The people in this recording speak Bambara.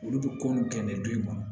Olu bɛ ko nin kɛ nin don in kɔnɔ